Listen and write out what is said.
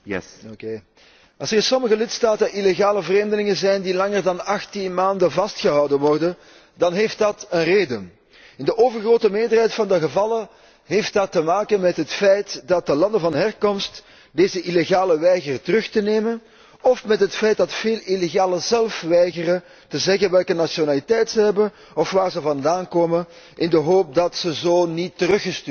Als er in sommige lidstaten illegale vreemdelingen zijn die langer dan 18 maanden vastgehouden worden, dan heeft dat een reden. In de overgrote meerderheid van de gevallen heeft dat te maken met het feit dat de landen van herkomst deze illegalen weigeren terug te nemen, of met het feit dat veel illegalen zelf weigeren te zeggen welke nationaliteit zij hebben of waar zij vandaan komen, in de hoop dat zij zo niet teruggestuurd kunnen worden.